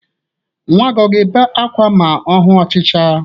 Nnwa gị ọ ga-ebe ákwá ma ọ hu ọchịcha?